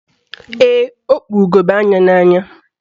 Ee, o kpu ugegbe anya n'anya.